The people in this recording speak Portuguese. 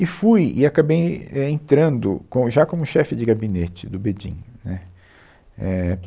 E fui e acabei en, é, entrando com, já como chefe de gabinete do BEDIN né éh